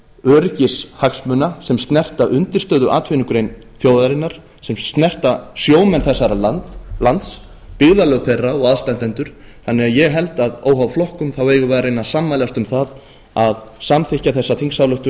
öryggishagsmuna sem snerta undirstöðuatvinnugrein þjóðarinnar sem snerta sjómenn þessa lands byggðarlög þeirra og aðstandendur þannig að ég held að óháð flokkum eigum við að reyna að sammælast um að samþykkja þessa þingsályktun